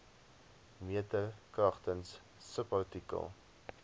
meter kragtens subartikel